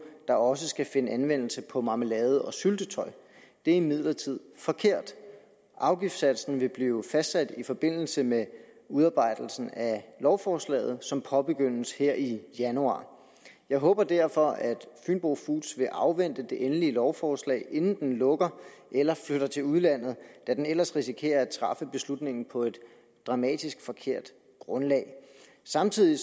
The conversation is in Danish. der også skal finde anvendelse på marmelade og syltetøj det er imidlertid forkert afgiftssatsen vil blive fastsat i forbindelse med udarbejdelsen af lovforslaget som påbegyndes her i januar jeg håber derfor at fynbo foods vil afvente det endelige lovforslag inden den lukker eller flytter til udlandet da den ellers risikerer at træffe beslutningen på et dramatisk forkert grundlag samtidig